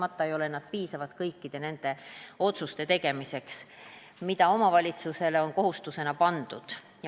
Aga jah, kahtlemata ei piisa neist kõikide otsuste tegemiseks, mis omavalitsustele on kohustusena pandud.